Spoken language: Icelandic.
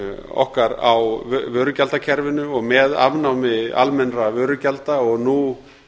okkar á vörugjaldakerfinu og með afnámi almennra vörugjalda og nú